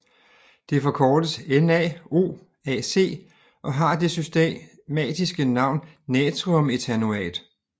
Det forkortes NaOAc og har det systematiske navn natriumethanoat